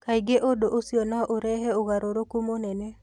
Kaingĩ ũndũ ũcio no ũrehe ũgarũrũku mũnene.